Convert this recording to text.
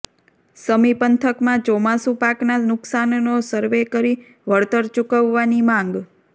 સમી પંથકમાં ચોમાસુ પાકના નુકસાનનો સરવે કરી વળતર ચૂકવવાની માંગ